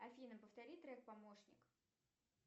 афина повтори трек помощник